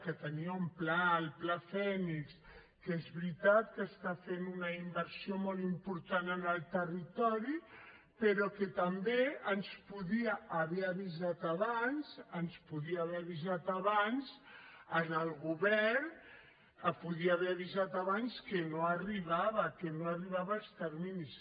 que tenia un pla el pla phoenix que és veritat que està fent una inversió molt important en el territori però que també ens podia haver avisat abans ens podia haver avisat abans al govern podia haver avisat abans que no arribava que no arribava als terminis